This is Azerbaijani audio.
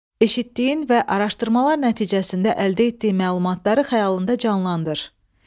Eşitdiyin və araşdırmalar nəticəsində əldə etdiyin məlumatları xəyalında canlandır.